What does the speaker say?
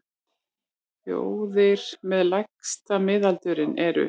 Þjóðir með lægsta miðaldurinn eru: